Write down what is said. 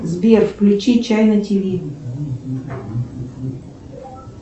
сбер включи чайна тв